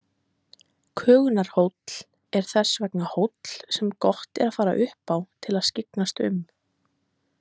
Kögunarhóll er þess vegna hóll sem gott að fara upp á til að skyggnast um.